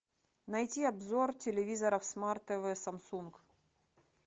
найти обзор телевизоров смарт тв самсунг